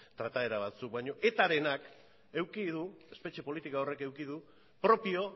trataera batzuk baina etarenak espetxe politika horrek eduki du propio